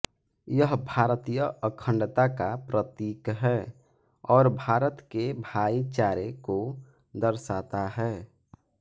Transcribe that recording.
यह भारतीय अखंडता का प्रतीक है और भारत के भाईचारे को दर्शाता है